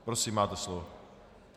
Prosím, máte slovo.